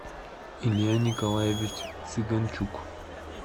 илья николаевич цыганчук